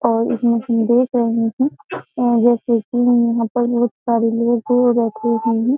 और इसमें हम देख रहे हैं जैसे कि यहाँ पर बहुत सारे लोग बैठे हुए हैं।